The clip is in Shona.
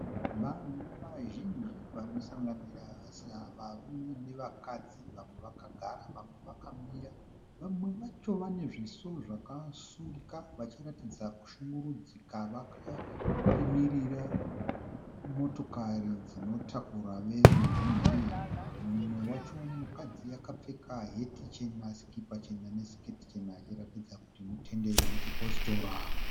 Vanhu vazhinji vanosanganisira varume navakadzi, vamwe vakagara vamwe vakamira. Vamwe vacho vanezviso zvakasungika vachiratidza kushungurudzika, vakamirira motokari dzinotakura veruzhinji. Mumwe wacho mukadzi akapfeka heti chena ,sikipa chena ne siketi chena, achiratidza kuti mutenderi wechipositora.